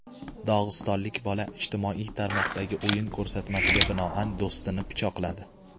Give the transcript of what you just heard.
Dog‘istonlik bola ijtimoiy tarmoqdagi o‘yin ko‘rsatmasiga binoan do‘stini pichoqladi.